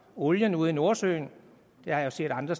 olien ude i nordsøen det har jeg set at andre